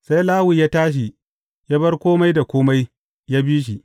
Sai Lawi ya tashi, ya bar kome da kome, ya bi shi.